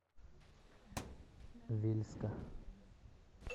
вельска